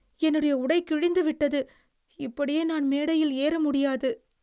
என்னுடைய உடை கிழிந்து விட்டது. இப்படியே நான் மேடையில் ஏற முடியாது.